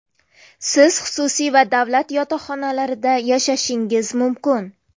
Siz xususiy va davlat yotoqxonalarida yashashingiz mumkin.